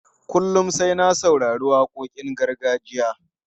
Kullum sai na saurari waƙoƙin gargajiya.